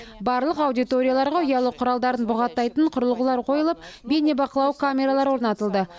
барлық аудиторияларға ұялы құралдарын бұғаттайтын құрылғылар қойылып бейнебақылау камералары орнатылды